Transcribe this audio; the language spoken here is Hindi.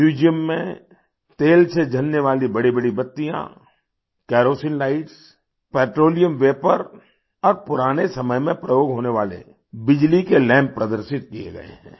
म्यूजियम में तेल से जलने वाली बड़ीबड़ी बत्तियाँ केरोसीन lightsपेट्रोलियम वापौर और पुराने समय में प्रयोग होने वाले बिजली के लैम्प प्रदर्शित किये गए हैं